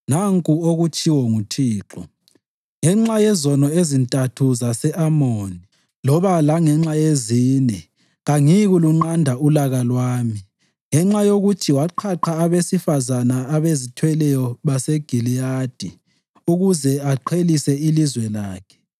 Nanku okutshiwo nguThixo: “Ngenxa yezono ezintathu zase-Amoni, loba langenxa yezine, kangiyikulunqanda ulaka lwami. Ngenxa yokuthi waqhaqha abesifazane abazithweleyo baseGiliyadi ukuze aqhelise ilizwe lakhe,